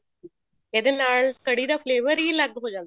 ਇਹਦੇ ਨਾਲ ਕੜ੍ਹੀ ਦਾ flavor ਹੀ ਅਲੱਗ ਹੋ ਜਾਂਦਾ